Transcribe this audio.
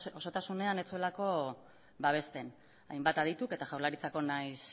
osotasunean ez zuelako babesten hainbat adituk eta jaurlaritzako nahiz